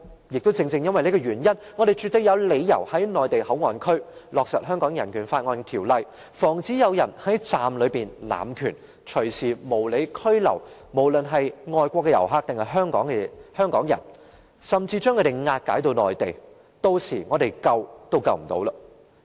因此，我們絕對有理由在內地口岸區落實《香港人權法案條例》，防止有人在站內濫權，隨時無理拘留外國遊客或香港人，甚至將他們押解至內地，屆時我們想救也救不了。